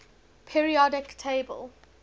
periodic table